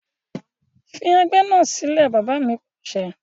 Fi ẹgbẹ́ náà sílẹ̀! Bàbá mi Pàṣẹ.